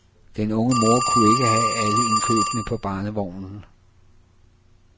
Den unge mor kunne ikke have alle indkøbene på barnevognen.